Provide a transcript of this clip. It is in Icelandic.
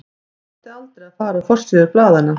Þetta átti aldrei að fara á forsíður blaðanna.